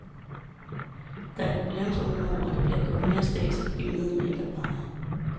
Det er jubilæumsår i år, og der bliver gjort mere stads af begivenheden, end der plejer.